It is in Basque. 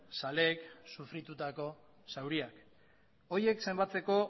zaleek sufritutako zauriak horiek zenbatzeko